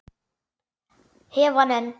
Hef hann enn.